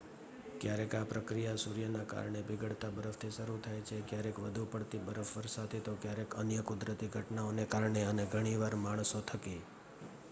ક્યારેક આ પ્રક્રિયા સૂર્યના કારણે પીગળતા બરફથી શરૂ થાય છે ક્યારેક વધુ પડતી બરફવર્ષથી તો ક્યારેક અન્ય કુદરતી ઘટનાઓને કારણે અને ઘણીવાર માણસો થકી